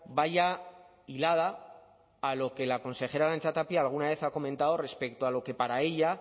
vaya hilada a lo que la consejera arantxa tapia alguna vez ha comentado respecto a lo que para ella